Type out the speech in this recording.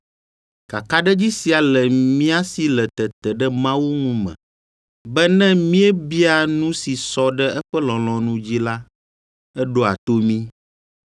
Kakaɖedzi sia le mía si le tete ɖe Mawu ŋu me, be ne míebia nu si sɔ ɖe eƒe lɔlɔ̃nu dzi la, eɖoa to mí.